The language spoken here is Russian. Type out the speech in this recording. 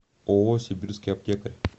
ооо сибирский аптекарь